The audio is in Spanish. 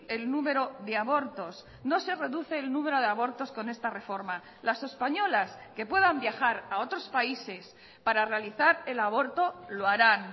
el número de abortos no se reduce el número de abortos con esta reforma las españolas que puedan viajar a otros países para realizar el aborto lo harán